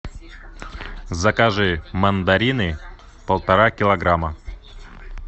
закажи мандарины полтора килограмма